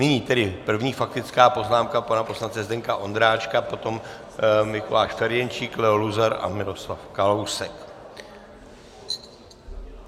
Nyní tedy první faktická poznámka pana poslance Zdeňka Ondráčka, potom Mikuláš Ferjenčík, Leo Luzar a Miroslav Kalousek.